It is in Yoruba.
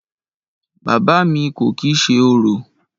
Bàbá à mi kò kìí ṣe orò.